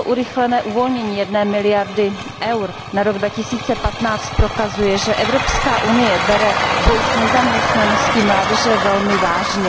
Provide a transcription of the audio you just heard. Toto urychlené uvolnění jedné miliardy EUR na rok 2015 prokazuje, že Evropská unie bere boj s nezaměstnaností mládeže velmi vážně.